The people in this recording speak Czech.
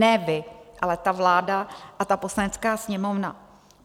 Ne vy, ale ta vláda a ta Poslanecká sněmovna.